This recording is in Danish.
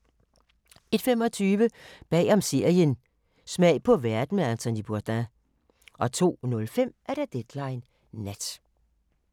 01:25: Bagom serien – Smag på verden med Anthony Bourdain 02:05: Deadline Nat